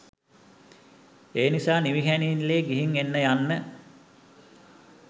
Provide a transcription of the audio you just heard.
ඒනිසා නිවිහැනහිල්ලේ ගිහිං එන්න යන්න.